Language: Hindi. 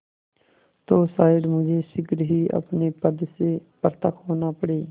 तो शायद मुझे शीघ्र ही अपने पद से पृथक होना पड़े